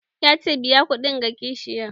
Ya ce 'Biya kuɗin ga kashiyan'!